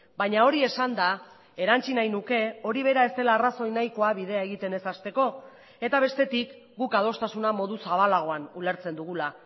baina hori esanda erantsi nahi nuke hori bera ez dela arrazoi nahikoa bidea egiten ez hasteko eta bestetik guk adostasuna modu zabalagoan ulertzen dugula